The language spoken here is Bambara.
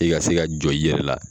I ka se ka jɔ i yɛrɛ la.